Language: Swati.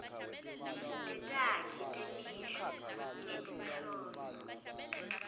tetakhi temisho ngetinhloso